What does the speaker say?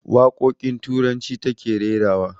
Waƙoƙin turanci ta ke rerawa